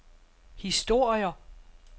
historier